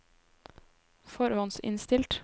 forhåndsinnstilt